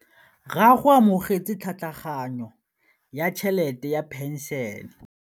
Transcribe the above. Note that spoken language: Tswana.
Rragwe o amogetse tlhatlhaganyô ya tšhelête ya phenšene.